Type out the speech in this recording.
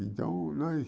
Então, nós...